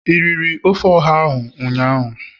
i riri ofe oha ụnyahụ?